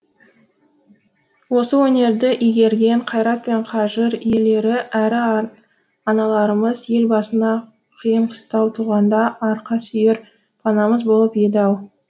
осы өнерді игерген қайрат пен қажыр иелері әрі аналарымыз ел басына қиын қыстау туғанда арқа сүйер панамыз болып еді ау